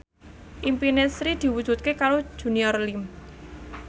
impine Sri diwujudke karo Junior Liem